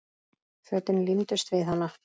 Fötin límdust við hana.